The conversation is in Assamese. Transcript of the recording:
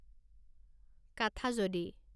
কাঠাজদী